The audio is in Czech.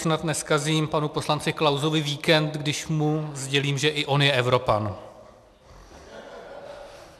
Snad nezkazím panu poslanci Klausovi víkend, když mu sdělím, že i on je Evropan.